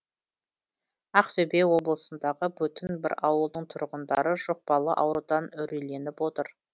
ақтөбе облысындағы бүтін бір ауылдың тұрғындары жұқпалы аурудан үрейленіп отыр